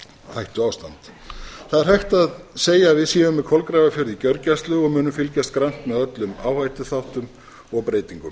hættuástand það er hægt að segja að við séum með kolgrafafjörð í gjörgæslu og munum fylgjast grannt með öllum áhættuþáttum og breytingum